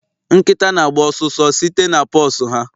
Nkịta na-agba ọsụsọ site na paws ha